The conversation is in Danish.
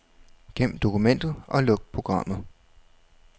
Gem dokumentet og luk programmet.